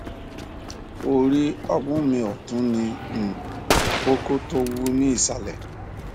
orí ọmú mi ọtún ní um kókó tó wú ní ìsàlẹ